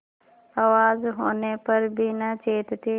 आवाज होने पर भी न चेतते